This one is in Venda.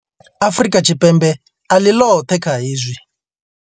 Afrika Tshipembe a ḽi ḽoṱhe kha hezwi.